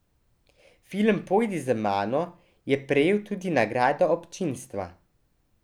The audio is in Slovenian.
Film Pojdi z mano je prejel tudi nagrado občinstva.